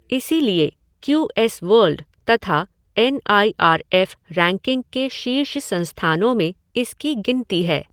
इसीलिए Q S World तथा N I R F ranking के शीर्ष संस्थानों में इसकी गिनती है।